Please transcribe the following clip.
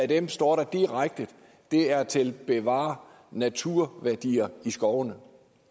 det står der direkte er til at bevare naturværdier i skovene